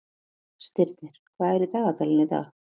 Stirnir, hvað er í dagatalinu í dag?